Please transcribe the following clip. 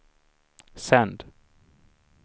sänd